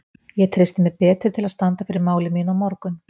Ég treysti mér betur til að standa fyrir máli mínu á morgun.